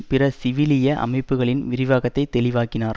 பிற சிவிலிய அமைப்புக்களின் விரிவாக்கத்தை தெளிவாக்கினார்